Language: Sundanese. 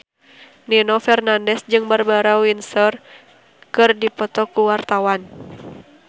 Nino Fernandez jeung Barbara Windsor keur dipoto ku wartawan